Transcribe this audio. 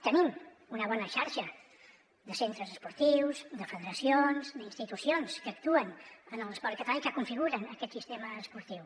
tenim una bona xarxa de centres esportius de federacions d’institucions que actuen en l’esport català i que configuren aquest sistema esportiu